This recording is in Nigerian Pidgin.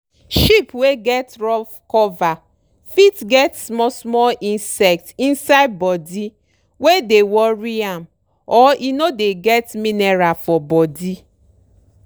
sheep wey get rought cover fit get small small insect inside body wey dey worry am or e no dey get miniral for body.